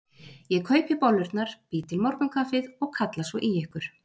Ég kaupi bollurnar, bý til morgunkaffið og kalla svo í ykkur.